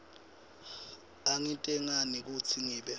angitentanga kutsi ngibe